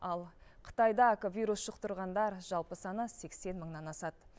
ал қытайда вирус жұқтырғандар жалпы саны сексен мыңнан асады